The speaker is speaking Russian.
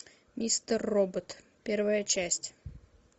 мистер робот первая часть